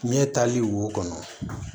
Ɲɛ tali wo kɔnɔ